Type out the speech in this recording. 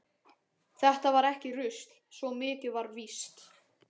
Þetta var ekki rusl, svo mikið var víst.